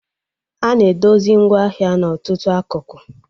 Ana edozi ngwaahịa n'ọtụtụ akụkụ